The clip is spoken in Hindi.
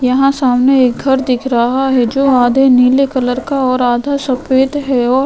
यहां सामने एक घर दिख रहा है जो आधे नीले कलर का और आधा सफेद है और --